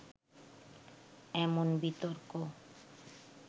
এমন বিতর্ক